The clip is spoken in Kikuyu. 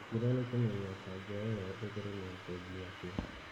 Gĩkĩro nĩ kumenya kanja ĩyo ĩtheremete nginya kũ